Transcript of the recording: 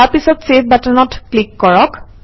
তাৰপিছত চেভ বাটনত ক্লিক কৰক